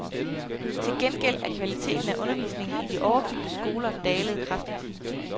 Til gengæld er kvaliteten af undervisningen i de overfyldte skoler dalet kraftigt.